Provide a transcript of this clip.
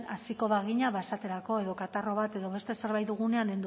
hasiko bagina ba esaterako edo katarro bat edo beste zerbait dugunean